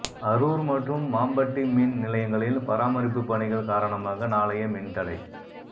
அரூா் மற்றும் மாம்பட்டி மின் நிலையங்களில் பராமரிப்பு பணிகள் காரணமாக நாளைய மின்தடை